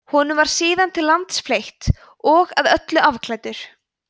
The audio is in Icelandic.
honum var síðan til lands fleytt og að öllu afklæddur